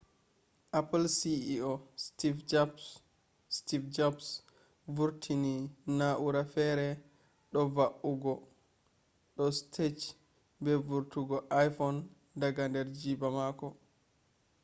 apple ceo steve jobs vurtini na’ura fere do va’ugo do stage be vurtungo iphone daga der jiiba mako